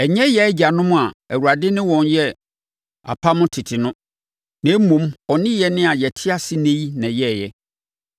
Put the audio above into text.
Ɛnyɛ yɛn agyanom na Awurade ne wɔn yɛɛ apam tete no, na mmom, ɔne yɛn a yɛte ase ɛnnɛ yi na ɛyɛeɛ.